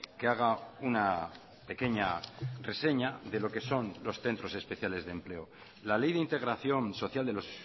que haga una pequeña reseña de lo que son los centros especiales de empleo la ley de integración social de los